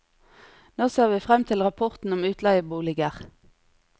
Nå ser vi frem til rapporten om utleieboliger.